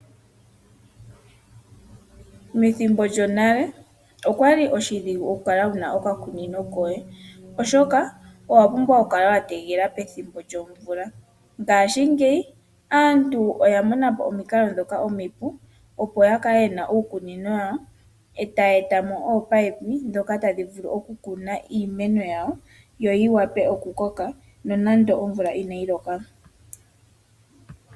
Methimbo lyonale okwali oshidhigu oku kala wuna okakunino koye oshoka owa pumbwa oku kala wa tegelela pethimbo lyomvula ngaashingeyi aantu oya mona po omikalo ndhoka omipu opo ya kale yena uukunino wawo etayeeta mo ominino ndhoka tadhi vulu okutekela iimeno yawo yi vule okukoka no nande omvula inayi loka.